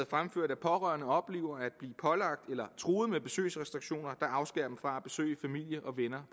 fremført at pårørende oplever at blive pålagt eller truet med besøgsrestriktioner der afskærer dem fra at besøge familie og venner